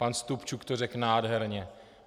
Pan Stupčuk to řekl nádherně.